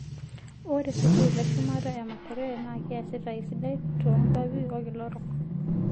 Ore sukuul eshumata e Makerere naa keesita esidai toonkuapi olkila orok